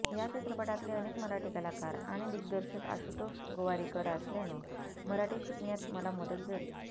या चित्रपटातले अनेक मराठी कलाकार आणि दिग्दर्शक आशुतोष गोवारीकर असल्यानं मराठी शिकण्यात मला मदत झाली